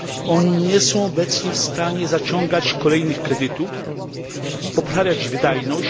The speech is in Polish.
Oni nie są obecnie w stanie zaciągać kolejnych kredytów, poprawiać wydajność.